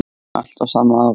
Allt á sama árinu.